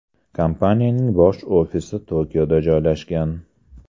Kompaniyaning bosh ofisi Tokioda joylashgan.